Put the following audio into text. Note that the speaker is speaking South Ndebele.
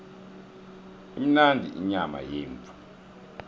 imnandi inyama yemvu